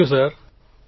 thank you sir